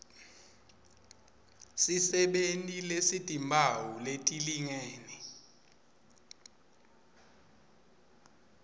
sisebenti lesitimphawu letilingene